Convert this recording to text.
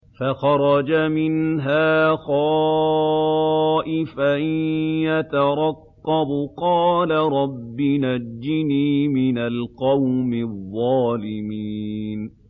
فَخَرَجَ مِنْهَا خَائِفًا يَتَرَقَّبُ ۖ قَالَ رَبِّ نَجِّنِي مِنَ الْقَوْمِ الظَّالِمِينَ